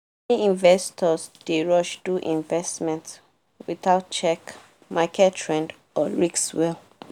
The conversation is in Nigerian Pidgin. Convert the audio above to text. many investors dey rush do investment without check market trend or risk well